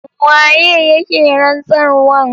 Waye yake rantsarwar?